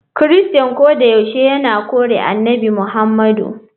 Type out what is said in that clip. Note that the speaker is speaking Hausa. Kirista kodayaushe yana kore Annabi Muhammadu.